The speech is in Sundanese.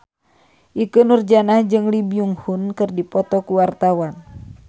Ikke Nurjanah jeung Lee Byung Hun keur dipoto ku wartawan